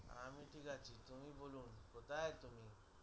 আমি ঠিক আছি কোথায় তুমি